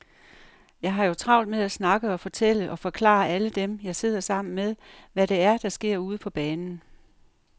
Jeg har jo travlt med at snakke og fortælle og forklare alle dem, jeg sidder sammen med, hvad det er, der sker ude på banen.